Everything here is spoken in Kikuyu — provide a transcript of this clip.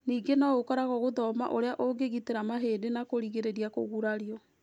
Ningĩ no ĩkoragũo gũthoma ũrĩa ũngĩgitĩra mahĩndĩ na kũrigĩrĩria kũgurario.